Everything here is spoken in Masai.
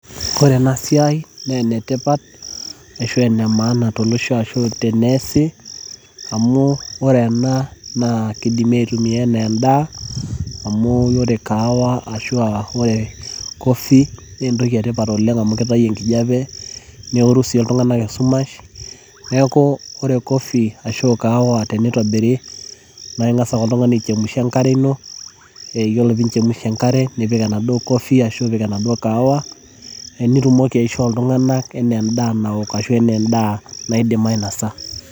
ore ena siai naa enemaana tolosho amu ore ena kidimi atumia enaa edaa amu ore kaawa ashu ore coffee ,naa entoki etipat oleng' amu kitau engijape, neworu sii iltung'anak esumash, idim ake atipika enkare nibukoki kaawa ashu coffee nicho iltung'anak metooko.